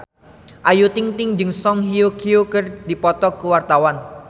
Ayu Ting-ting jeung Song Hye Kyo keur dipoto ku wartawan